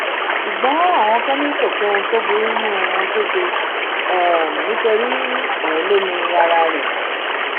ṣùgbọn àwọn kan ni kò sóhun tó burú nínú ohun tó ṣe nítorí òun ló ni ara rẹ